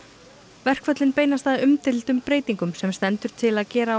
verkföllin beinast að umdeildum breytingum sem stendur til að gera á